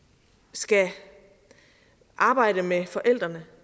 skal arbejde med forældrene